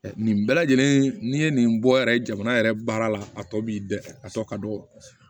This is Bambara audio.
Nin bɛɛ lajɛlen n'i ye nin bɔ yɛrɛ jamana yɛrɛ baara la a tɔ b'i bɛɛ a tɔ ka dɔgɔ